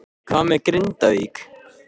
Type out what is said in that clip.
Hvað með Grindavík?